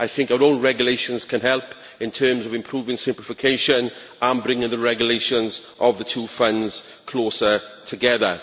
I think our own regulations can help in terms of improving simplification and bringing the regulations of the two funds closer together.